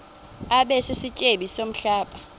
abe sisityebi somhlaba